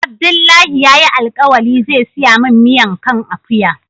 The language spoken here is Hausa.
Abdullahi ya yi alkawali zai siya min miyan kan akuya